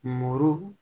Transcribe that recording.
Mɔɔ